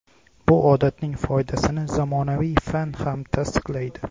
Bu odatning foydasini zamonaviy fan ham tasdiqlaydi.